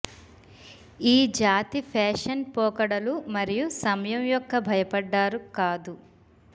ఈ జాతి ఫ్యాషన్ పోకడలు మరియు సమయం యొక్క భయపడ్డారు కాదు